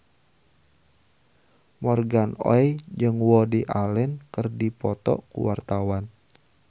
Morgan Oey jeung Woody Allen keur dipoto ku wartawan